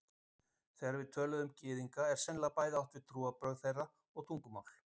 Þegar við tölum um Gyðinga er sennilega bæði átt við trúarbrögð þeirra og tungumál.